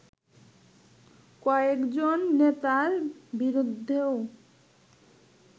কয়েকজন নেতার বিরুদ্ধেও